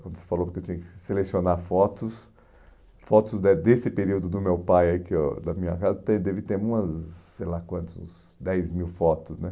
Quando você falou que eu tinha que selecionar fotos, fotos de desse período do meu pai aí que eu, da da minha casa, de deve ter umas, sei lá quantas, uns dez mil fotos, né?